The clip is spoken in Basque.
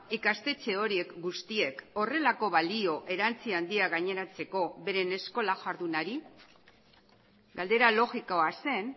ikastetxe horiek guztiek horrelako balio erantsi handia gaineratzeko beren eskola jardunari galdera logikoa zen